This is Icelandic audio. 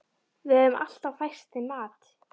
Við höfum alltaf fært þeim mat.